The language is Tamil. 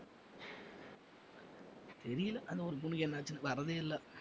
தெரியல அந்த ஒரு பொண்ணுக்கு என்ன ஆச்சுன்னு வரதே இல்ல